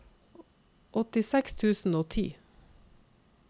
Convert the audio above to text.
åttiseks tusen og ti